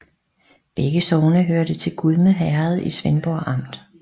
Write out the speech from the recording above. Begge sogne hørte til Gudme Herred i Svendborg Amt